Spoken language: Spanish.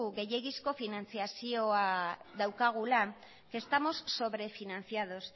gehiegizko finantziazioa daukagula que estamos sobrefinanciados